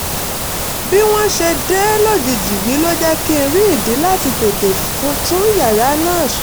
bí wọ́n ṣe dé lójijì yìí ló jẹ́ kí n rí ìdí láti tètè tún ìyàrá náà ṣe